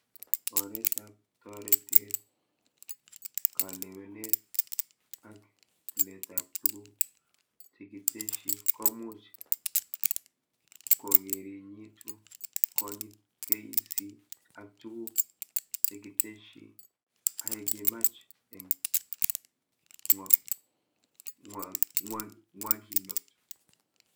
Oretab toretet, kalewenet, ak tiletab tuguk chekitesyi komuch kokerinyitu konyit KEC ak tuguk chekitesyi ahekimach eng ngwakinot